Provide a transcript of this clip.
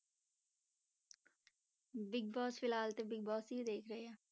Big Boss ਫਿਲਹਾਲ ਤੇ Bigg Boss ਹੀ ਦੇਖ ਰਹੇ ਹਾਂ।